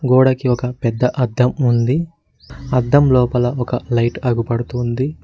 గోడకి ఒక పెద్ద అద్దం ఉంది అద్దం లోపల ఒక లైట్ ఆగుపడుతుంది.